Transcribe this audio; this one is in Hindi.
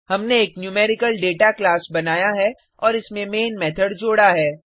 हमने एक न्यूमेरिकल डेटा क्लास बनाया है और इसमें मैन मेथड जोडा है